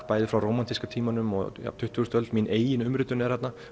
bæði frá rómantíska tímanum og tuttugustu öldinni mín eigin umritun er þarna